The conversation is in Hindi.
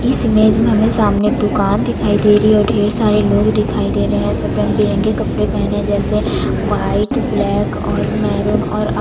इस इमेज में हमे सामने एक दुकान दिखाई दे रही है ढेर सारे लोग दिखाई दे रहै है सब रंग-बिरंगे कपड़े पहने जैसे वाइट ब्लैक और मैरून और--